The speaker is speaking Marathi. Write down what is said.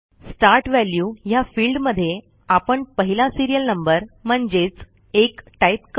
स्टार्ट वॅल्यू ह्या फिल्डमध्ये आपण पहिला सिरियल नंबर म्हणजेच 1 टाईप करू